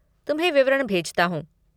तुम्हें विवरण भेजता हूँ।